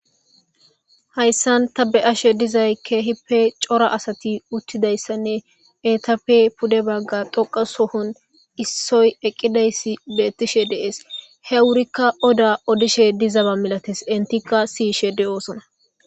hayssan ta be ashe dizay keehipe cora asati uttidayssanne etape pude bagga doqa sohon issoy eqqideyssi bettishe deees he wurikka oda odishe dizaba milates intikka siyishe de7oosona